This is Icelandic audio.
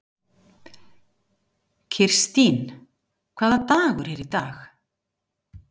Kirstín, hvaða dagur er í dag?